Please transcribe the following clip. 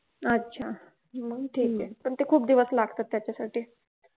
अच्छा हम्म ठीके पण ते खुप दिवस लागतात त्याच्यासाठी